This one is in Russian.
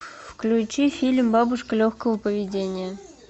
включи фильм бабушка легкого поведения